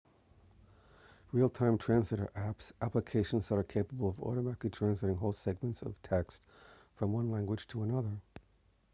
real-time text translator apps applications that are capable of automatically translating whole segments of text from one language into another